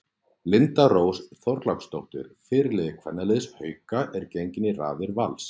Linda Rós Þorláksdóttir fyrirliði kvennaliðs Hauka er gengin í raðir Vals.